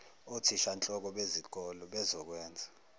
othishanhloko bezikole bezokwenza